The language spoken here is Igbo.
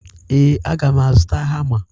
Ee, a ga m azụta hama.